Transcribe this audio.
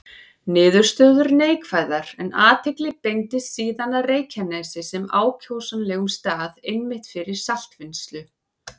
Niðurstöður neikvæðar, en athygli beindist síðan að Reykjanesi sem ákjósanlegum stað einmitt fyrir saltvinnslu.